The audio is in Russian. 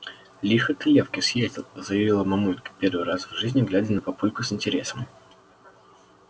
лихо ты лёвке съездил заявила мамулька первый раз в жизни глядя на папульку с интересом